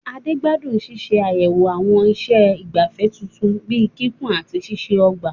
Ade gbádùn ṣíṣe àyẹ̀wò àwọn iṣẹ́ ìgbafẹ́ tuntun bíi kíkùn àti ṣíṣe ọgbà.